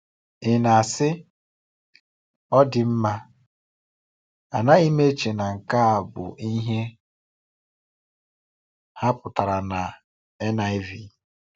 Ị na-asị, “Ọ dị mma, anaghị m eche na nke a bụ ihe ha pụtara na NIV.”